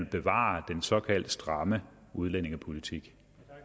bevare den såkaldt stramme udlændingepolitik